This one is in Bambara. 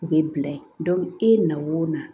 U bɛ bila ye e na o na